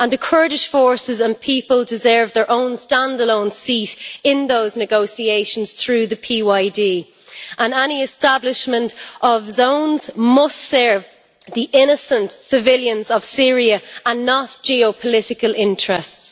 The Kurdish forces and people deserve their own stand-alone seat in those negotiations through the PYD, and any establishment of zones must serve the innocent civilians of Syria and not geopolitical interests.